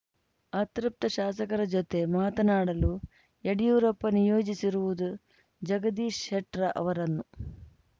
ಅತೃಪ್ತ ಶಾಸಕರ ಜೊತೆ ಮಾತನಾಡಲು ಯಡಿಯೂರಪ್ಪ ನಿಯೋಜಿಸಿರುವುದು ಜಗದೀಶ್‌ ಶೆಟ್ರ ಅವರನ್ನು